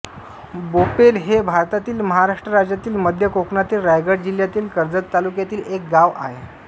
बोपेल हे भारतातील महाराष्ट्र राज्यातील मध्य कोकणातील रायगड जिल्ह्यातील कर्जत तालुक्यातील एक गाव आहे